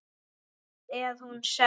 Samt er hún söm.